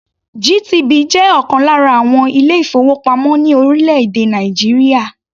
GTB jẹ́ ọ̀kan lára àwọn ilé-ìfowópamọ́ ní orílẹ̀-èdè Nàìjíríà.